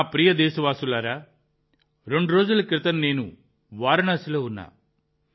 నా ప్రియమైన దేశవాసులారా రెండు రోజుల క్రితం నేను వారణాసిలో ఉన్నాను